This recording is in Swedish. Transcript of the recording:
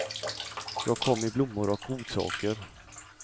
Jag kom med blommor och godsaker.